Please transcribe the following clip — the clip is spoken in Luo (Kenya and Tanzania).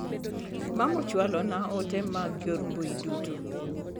Mama ochwalo na ote mag nyor mbui duto.